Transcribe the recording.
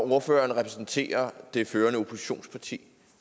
ordføreren repræsenterer det førende oppositionsparti